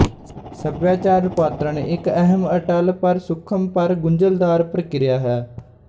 ਸਭਿਆਚਾਰ ਰੁਪਾਂਤਰਣ ਇੱਕ ਅਹਿਮ ਅਟੱਲ ਪਰ ਸੁਖ਼ਮ ਪਰ ਗੁੰਝਲਦਾਰ ਪ੍ਰਕਿਰਿਆ ਹੈ